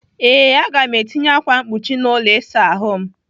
Ee, Aga m etinye ákwà mkpuchi n'ụlọ ịsa ahụ m.